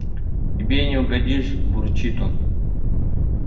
тебе не угодишь бурчит он